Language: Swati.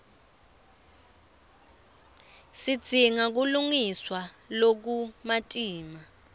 sidzinga kulungiswa lokumatima